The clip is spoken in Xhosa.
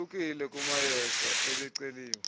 ohlukile kumayeza ebeceliwe